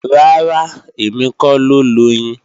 Rárá, èmi kọ́ ló loyin